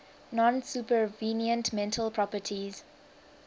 non supervenient mental properties